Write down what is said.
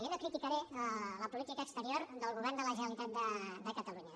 jo no criticaré la política exterior del govern de la generalitat de catalunya